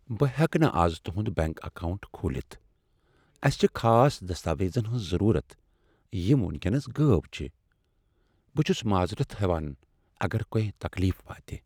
بہٕ ہیٚکہٕ نہٕ از تُہند بینک اکاونٹ کھولِتھ۔ اسہِ چِھ خاص دستاویزن ہنٛز ضرورت یِم ونکینس غٲب چھ۔ بہٕ چُھس معذرت ہیٚوان اگر تۄہہِ تکلیف واتہِ۔